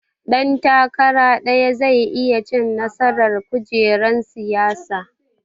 Ɗan takara ɗaya zai iya cin nasaran kujerar siyasa